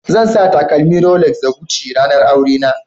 Zan sa takalmin Rolex da Gucci a ranar aurena